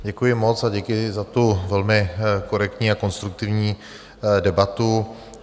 Děkuji moc a děkuji za tu velmi korektní a konstruktivní debatu.